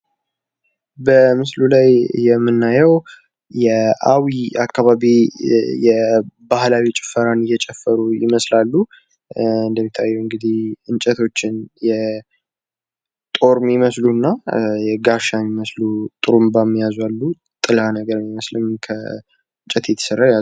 በምስሉ ላይ የምናየዉ የአዊ አካባቢን የባህላዊ ጭፈራን እየጨፈሩ ይመስላሉ። እንደሚታየዉ እንግዲህ እንጨቶችን ጦር የሚመስሉ እና ጋሻ የሚመስሉ ጡሩባም የያዙ አሉ። ጥላ ነገር የሚመስልም ከእንጨት የተሰራ የያዙ አሉ።